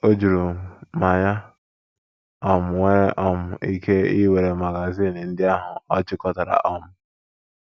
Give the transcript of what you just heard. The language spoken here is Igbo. Ọ jụrụ m ma ya um nwere um ike iwere magazin ndị ahụ ọ chịkọtara um.